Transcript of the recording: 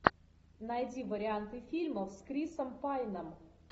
найди варианты фильмов с крисом пайном